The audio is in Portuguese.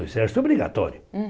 O exército obrigatório. Hum